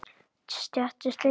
Stéttin slegin?